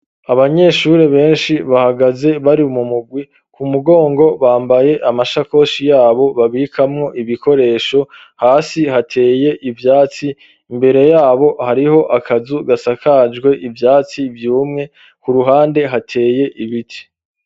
Abanyeshuri benshi bahagaze bari mu mugwi kumugongo bambaye amashakoshi yabo babikamwo ibikoresho, hasi hateye ivyatsi imbere yabo hariho akazu gasakajwe ivyatsi vyumwe kuruhande hateye ibiti.